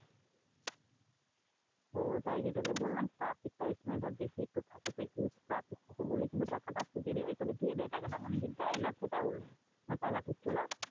ও ওটাই যে তোকে বললাম traffic তো ওই সময় বেশি একটু থাকে তো huge traffic থাকে বলে কিন্তু টাকাটা আসতে দেরি হয়। এমনিতে দিয়ে দেয় টাকাটা। যে দেয়না সেটা বলব না। টাকা ঠিক চলে আসে।